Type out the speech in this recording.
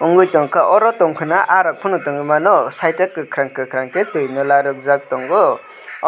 o jangke oro tongka na aah rok pono tongoi mano site o kokarang kokarang ke tui no larokjak tango